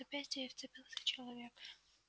в запястье ей вцепился человек